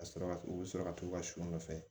Ka sɔrɔ ka u bɛ sɔrɔ ka t'u ka sɔ nɔfɛ